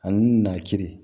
Ani na kirin